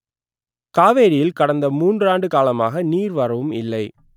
காவேரியில் கடந்த மூன்றாண்டு காலமாக நீர் வரவும் இல்லை